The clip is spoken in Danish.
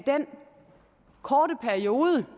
korte periode